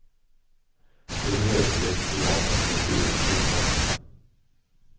Det behövs i ett klimat där kulturen är utsatt.